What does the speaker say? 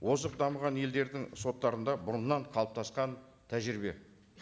озық дамыған елдердің соттарында бұрыннан қалыптасқан тәжірибе